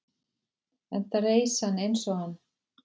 enda reis hann eins og hann